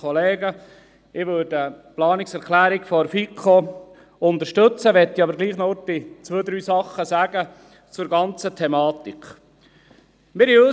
Ich würde die Planungserklärung der FiKo unterstützen, möchte aber doch zwei, drei Dinge zur Thematik sagen.